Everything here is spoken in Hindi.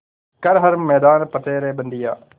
कर हर मैदान फ़तेह रे बंदेया